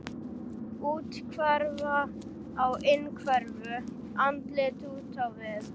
Úthverfa á innhverfu, andlit út á við.